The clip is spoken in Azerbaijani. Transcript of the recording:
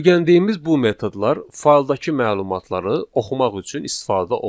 Öyrəndiyimiz bu metodlar fayldakı məlumatları oxumaq üçün istifadə olunur.